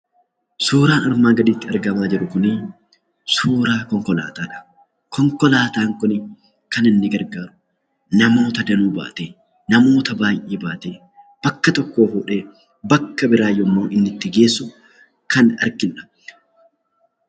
Suuraan asirratti arginu kun suuraa konkolaataadha. Konkolaataan kun kan inni gargaaru namoota baay'ee baatee bakka tokkoo fuudhee bakka biraatti yemmuu inni geessu kan arginudha.